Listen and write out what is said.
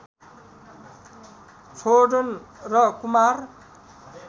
छोदन र कुमार